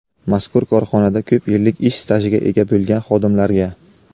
mazkur korxonada ko‘p yillik ish stajiga ega bo‘lgan xodimlarga;.